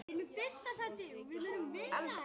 og strýkir þá með vendi.